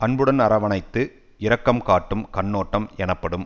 அன்புடன் அரவணைத்து இரக்கம் காட்டும் கண்ணோட்டம் எனப்படும்